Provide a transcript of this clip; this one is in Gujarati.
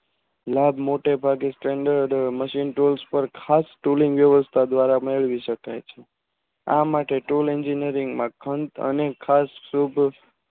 લાભ મોટો ભાગે Canner machine તેજ પાર ખાસ ઉત્પાદન દ્વારા મેળવી શકાય છે આ માટે